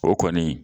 O kɔni